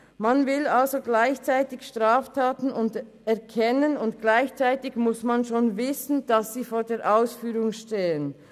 Man will also gleichzeitig Straftaten erkennen, und gleichzeitig muss man schon wissen, dass sie vor der Ausführung stehen.